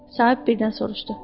Sahib birdən soruşdu.